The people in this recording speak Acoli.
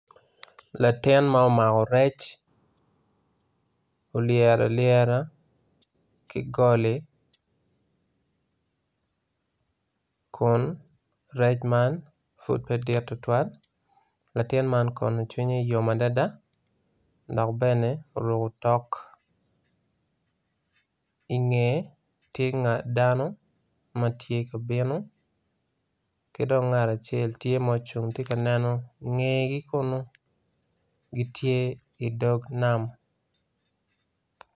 Latin ma omako rec olyero alyera ki goli kun rec man pud pe dit tutwal. latin man kono cwinye yom adada dok bene oruko otok ingeye tye dano matye ka bino ki dong ngat acel tye ma ocung tye ka neno ingegi kunu gitye idog nam.